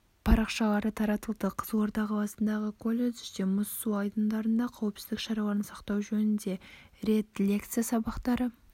парақшалары таратылды қызылорда қаласындағы колледжде мұз су айдындарында қауіпсіздк шараларын сақтау жөнінде рет лекция абақтары